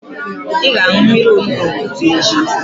Ị ga-aṅụ mmiri onugbu n'ụtụtụ echi.